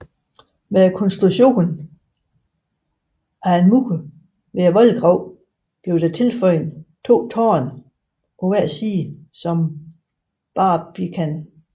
Med konstruktionen af en mur ved voldgraven blev der tilføjet to tårne på hver side som barbican